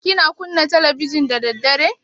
Kina kunna talabijin da daddare?